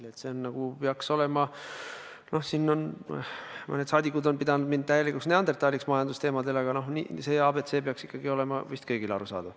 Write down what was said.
See ABC nagu peaks olema – noh, mõned saadikud on mind majandusvallas täielikuks neandertallaseks pidanud – kõigile arusaadav.